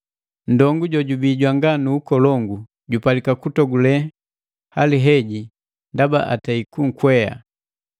“Ndongu jojubii jwanga nu ukolongu jupalika kutogule hali heji ndaba atei kunkwea,